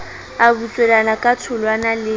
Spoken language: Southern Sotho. a butswelana ka tholwana le